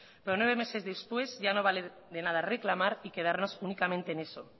pero nueve meses después ya no vale de nada reclamar y quedarnos únicamente en eso